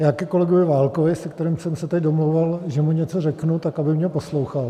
Já ke kolegovi Válkovi, se kterým jsem se tady domlouval, že mu něco řeknu, tak aby mě poslouchal.